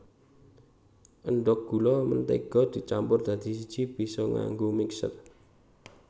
Endhog gula mentega dicampur dadi siji bisa nganggo mixer